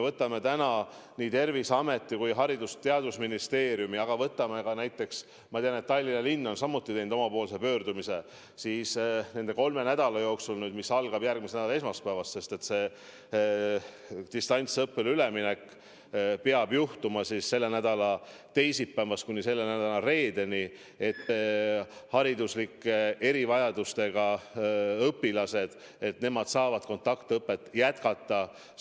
Võtame nii Terviseameti kui ka Haridus- ja Teadusministeeriumi, võtame näiteks ka Tallinna linna, kes on samuti teinud omapoolse pöördumise, et nende kolme nädala jooksul, mis algavad järgmisest nädalast – distantsõppele üleminek peab toimuma selle nädala teisipäevast kuni selle nädala reedeni –, saavad hariduslike erivajadustega õpilased kontaktõpet jätkata.